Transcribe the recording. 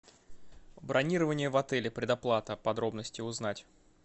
бронирование в отеле предоплата подробности узнать